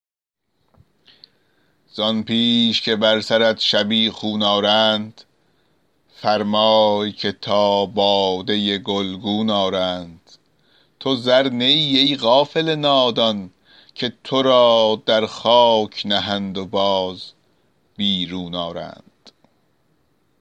زآن پیش که بر سرت شبیخون آرند فرمای که تا باده گلگون آرند تو زر نه ای ای غافل نادان که تو را در خاک نهند و باز بیرون آرند